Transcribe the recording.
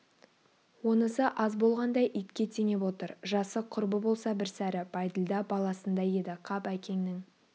онысы аз болғандай итке теңеп отыр жасы құрбы болса бір сәрі бәйділда баласындай еді қап әкеңнің